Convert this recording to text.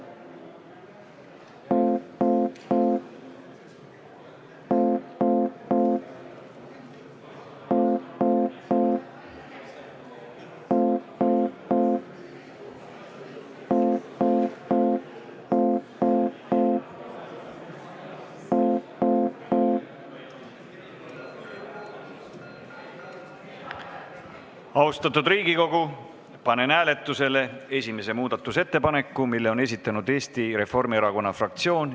Austatud Riigikogu, panen hääletusele esimese muudatusettepaneku, mille on esitanud Eesti Reformierakonna fraktsioon.